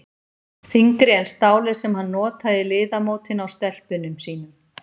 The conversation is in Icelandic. Þyngri en stálið sem hann notaði í liðamótin á stelpunum sínum.